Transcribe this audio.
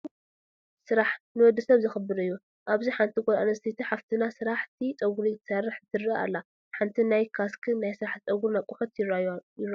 ስራሕ፡- ንወዲ ሰብ ዘኽብር እዩ፡፡ ኣብዚ ሓንቲ ጓል ኣነስተይቲ ሓፍትና ስራሕቲ ጨጉሪ ትሰርሕ ትረአ ኣላ፡፡ ሓንቲ ናይ ካስክን ናይ ስራሕቲ ፀጉሪ ኣቐሑትን ይራኣዩ፡፡